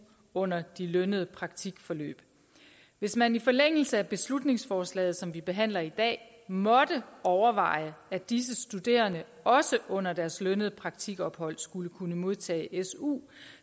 under de lønnede praktikforløb hvis man i forlængelse af beslutningsforslaget som vi behandler i dag måtte overveje at disse studerende også under deres lønnede praktikophold skulle kunne modtage su